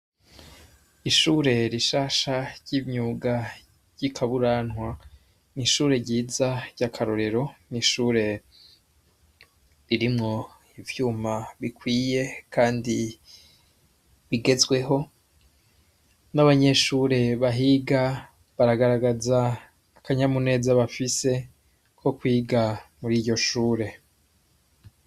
Ishure rishasha ry'imyuga ry'ikaburantwa nishure ryiza ry'akarorero n'ishure ririmwo ivyuma bikwiye, kandi bigezweho n'abanyeshure bahiga baragaragaza akanyamuneza bafise ko kwiga muri iryo shure.